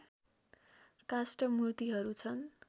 काष्ठ मूर्तिहरू छन्